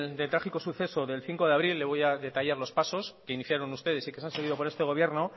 trágico suceso del cinco de abril le voy a detallar los pasos que iniciaron ustedes y que se han seguido por este gobierno